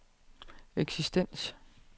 eksistens